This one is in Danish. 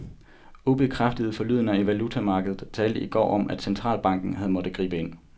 Ubekræftede forlydender i valutamarkedet talte i går om, at den centralbanken havde måttet gribe ind.